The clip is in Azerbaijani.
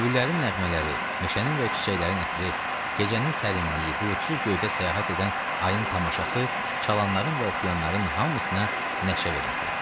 Öybülərin nəğmələri, meşənin və çiçəklərin ətri, gecənin sərinliyi, buludsuz göydə səyahət edən ayın tamaşası, çalanların və oxuyanların hamısına nəşə verirdi.